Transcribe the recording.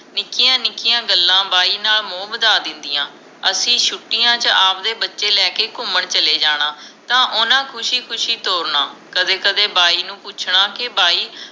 ਨਿੱਕਿਆ ਨਿੱਕਿਆ ਗੱਲਾਂ ਬਾਈ ਨਾਲ ਮੋਹ ਵਧਾ ਦਿੰਦਿਆਂ ਅਸੀਂ ਛੁਟਿਆ ਚ ਆਵਦੇ ਬੱਚੇ ਲੈਕੇ ਘੁੰਮਣ ਚਲੇ ਜਾਣਾ ਤਾਂ ਓਹਨਾ ਖੁਸ਼ੀ ਖੁਸ਼ੀ ਤੋਰਨਾ ਕਦੇ ਕਦੇ ਬਾਈ ਨੂੰ ਪੁੱਛਣਾ ਕੇ ਬਾਈ